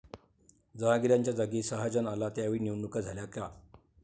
जहांगीरच्या जागी शहाजहान आला त्यावेळी निवडणुका झाल्या का?